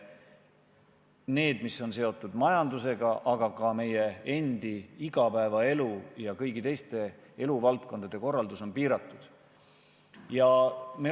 Selle, mis on seotud majandusega, aga ka meie enda igapäevaelu ja kõigi teiste eluvaldkondade korraldus on piiratud.